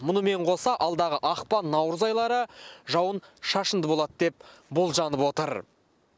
мұнымен қоса алдағы ақпан наурыз айлары жауын шашынды болады деп болжанып отыр